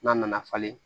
N'a nana falen